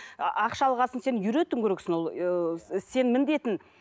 і ақша алған соң сен үйретуің керексің ол сенің міндетің